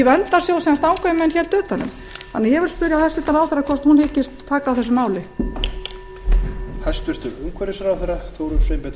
utan um þannig að ég spyr hæstvirtur ráðherra hvort hún hyggist taka á þessu máli